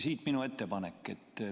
Siit minu ettepanek.